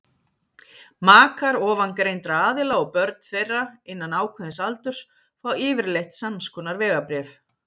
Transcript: makar ofangreindra aðila og börn þeirra innan ákveðins aldurs fá yfirleitt samskonar vegabréf